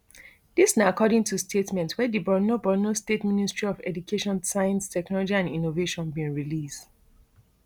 dis na according to statement wey di borno borno state ministry of education science technology and innovation bin release